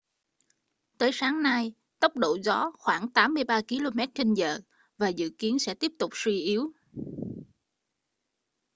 tới sáng nay tốc độ gió khoảng 83 km/h và dự kiến sẽ tiếp tục suy yếu